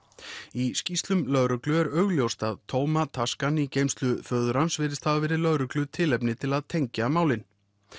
í skýrslum lögreglu er augljóst að tóma taskan í geymslu föður hans virðist hafa verið lögreglu tilefni til að tengja málin